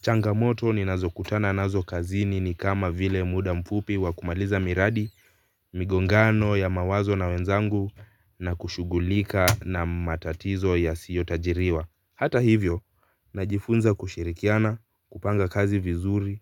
Changamoto ninazo kutana nazo kazini ni kama vile muda mfupi wa kumaliza miradi, migongano ya mawazo na wenzangu na kushugulika na matatizo yasiyotajiriwa. Hata hivyo, najifunza kushirikiana, kupanga kazi vizuri